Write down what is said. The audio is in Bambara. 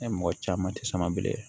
Ne mɔgɔ caman ti sama bilen